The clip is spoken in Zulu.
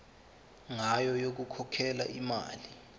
ngayo yokukhokhela imali